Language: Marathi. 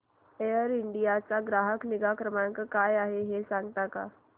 एअर इंडिया चा ग्राहक निगा क्रमांक काय आहे मला सांगता का